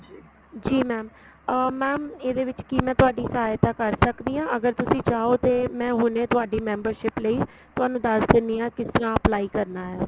ਜੀ mam ਅਹ mam ਇਹਦੇ ਵਿੱਚ ਕੀ ਮੈਂ ਸਹਾਇਤਾ ਕਰ ਸਕਦੀ ਆ ਅਗਰ ਤੁਸੀਂ ਚਾਹੋ ਤੇ ਮੈਂ ਹੁਣੇ ਤੁਹਾਡੀ membership ਲਈ ਤੁਹਾਨੂੰ ਦੱਸ ਦਿੰਨੀ ਆ ਕਿਸ ਤਰ੍ਹਾਂ apply ਕਰਨਾ ਹੈ